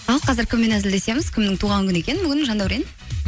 ал қазір кіммен әзілдесеміз кімнің туған күні екен бүгін жандәурен